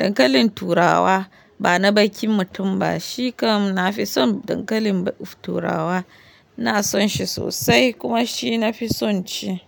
Dankalin turawa bana baki mutum ba, shi kam na fi son dankalin turawa. Na son shi sosai kuma shi na fi son ci.